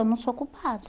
Eu não sou culpada.